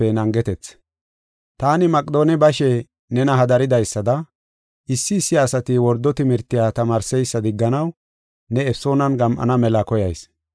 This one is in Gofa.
Taani Maqedoone bashe nena hadaridaysada, issi issi asati wordo timirtiya tamaarseysa digganaw ne Efesoonan gam7ana mela koyayis.